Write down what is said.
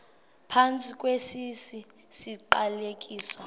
phantsi kwesi siqalekiso